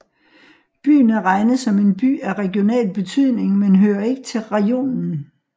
Byen er regnet som en By af regional betydning men hører ikke til rajonen